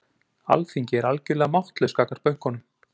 Alþingi er algjörlega máttlaust gagnvart bönkunum